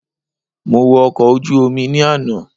Mo wo ọkọ̀ ojú Omi ni àná